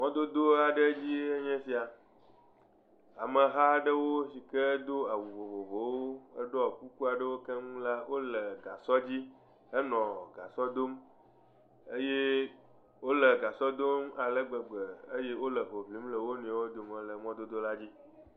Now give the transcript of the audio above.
Mɔdodo aɖe dzi enye esia ameha aɖewo sike do awu vovovowo ɖɔ kuku aɖewo keŋ la wonɔ gasɔ dzi henɔ gasɔ dom eye wole alegbegbe eye wonɔ hoʋlim le wonɔewo dome le mɔdodo la dzi